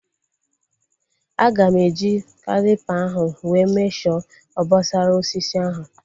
Aga m eji calipa ahu wee mesho obosara osisi ahu